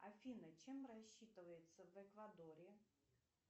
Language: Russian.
афина чем рассчитываются в эквадоре